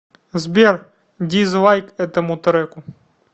сбер дизлайк этому треку